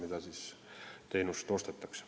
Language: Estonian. Andres Ammas, palun!